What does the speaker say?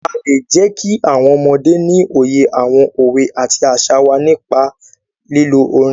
A lè jẹ́kí àwọn ọmọdé ní òye àwọn òwe àti àṣà wá nípa lílo orin.